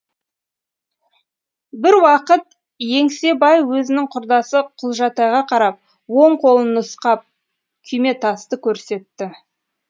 бір уақыт еңсебай өзінің құрдасы құлжатайға қарап оң қолын нұсқап күйметасты көрсетті